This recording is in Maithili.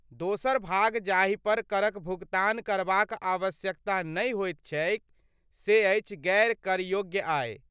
दोसर भाग जाहिपर करक भुगतान करबाक आवश्यकता नहि होइत छैक से अछि गैर करयोग्य आय।